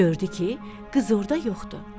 Gördü ki, qız orda yoxdur.